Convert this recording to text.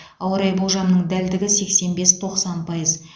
ауа райы болжамының дәлдігі сексен бес тоқсан пайыз